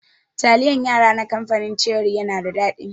Taliyan yara na kamfanin ceri yana da daɗi.